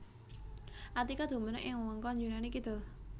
Attika dumunung ing wewengkon Yunani kidul